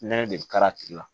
Nɛnɛ de bɛ ka tigi la